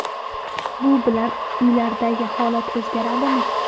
Bu bilan uylardagi holat o‘zgaradimi?